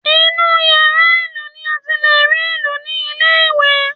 Inú yàrá ìlù ni a ti lè rí ìlù ní ilé ìwé